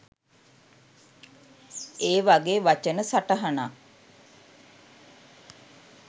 ඒ වගේ වචන සටහනක්